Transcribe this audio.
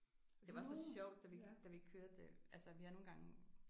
Det var så sjovt da vi da vi kørte altså vi har nogle gange